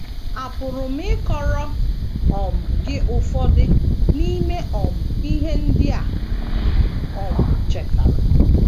Àpụrụ m ịkọrọ um gị ụfọdụ n’ime um ihe ndị a m um chetara?